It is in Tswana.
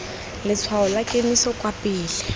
letshwao la kemiso kwa pele